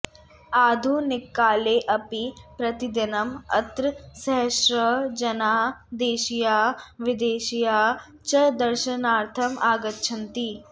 आधुनिककालेऽपि प्रतिदिनम् अत्र सहस्रशः जनाः देशीयाः विदेशीयाः च दर्शनार्थम् आगच्छन्ति